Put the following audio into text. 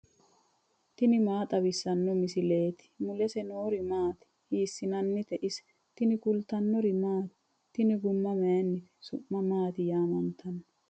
tini maa xawissanno misileeti ? mulese noori maati ? hiissinannite ise ? tini kultannori maati? Tinni guma mayiinnite? su'ma maatti yaamanttanno?